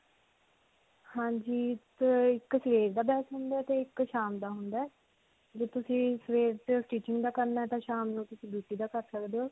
ਹਾਂਜੀ. ਤੇ ਇੱਕ ਸਵੇਰ ਦਾ batch ਹੁੰਦਾ ਹੈ ਤੇ ਇੱਕ ਸ਼ਾਮ ਦਾ ਹੁੰਦਾ ਹੈ. ਜੇ ਤੁਸੀਂ ਸਵੇਰ stitching ਦਾ ਕਰਨਾ ਤੇ ਸ਼ਾਮ ਨੂੰ ਤਸੀਂ beauty ਦਾ ਕਰ ਸਕਦੇ ਹੋ.